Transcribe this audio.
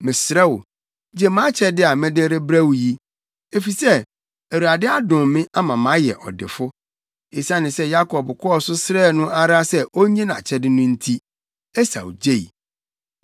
Mesrɛ wo, gye mʼakyɛde a mede rebrɛ wo yi, efisɛ Awurade adom me ama mayɛ ɔdefo.” Esiane sɛ Yakob kɔɔ so srɛɛ no ara sɛ onnye nʼakyɛde no nti, Esau gyei.